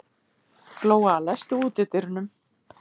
Glóa, læstu útidyrunum.